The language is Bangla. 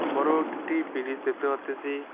বড়ো একটি বিরিজ ব্রিজ দেখতে পারতেসি।